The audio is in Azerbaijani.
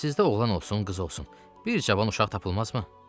Sizdə oğlan olsun, qız olsun, bir cavan uşaq tapılmazmı?